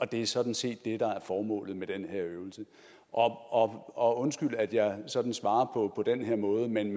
det er sådan set det der er formålet med den her øvelse og og undskyld at jeg sådan svarer på den her måde men